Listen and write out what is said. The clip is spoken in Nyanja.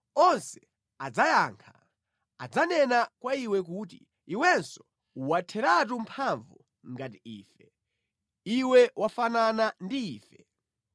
Onse adzayankha; adzanena kwa iwe kuti, “Iwenso watheratu mphamvu ngati ife; Iwe wafanana ndi ife.”